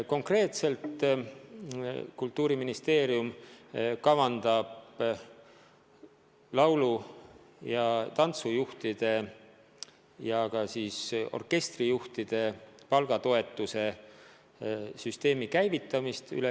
Konkreetselt kavandab Kultuuriministeerium kogu riigis käivitada laulu- ja tantsujuhtide, samuti orkestrijuhtide palga toetamise süsteemi.